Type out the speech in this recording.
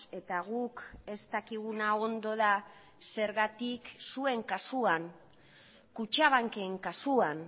eta guk ez dakiguna ondo da zergatik zuen kasuan kutxabanken kasuan